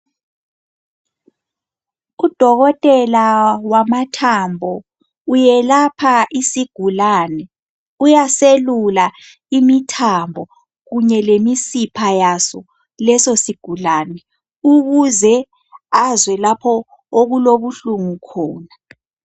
Udokotela wamathambo uyelapha isigulane uyaselula imithambo kunye lemisipha yaso leso sigulane ukuze azwe lapho okulobuhlungu khona .